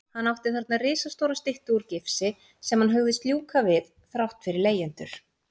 Hann átti þarna risastóra styttu úr gifsi sem hann hugðist ljúka við þrátt fyrir leigjendur.